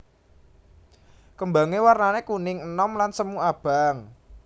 Kembange warnane kuning enom lan semu abang